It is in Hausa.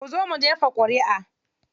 Kuzo mu jefa ƙuriʼa.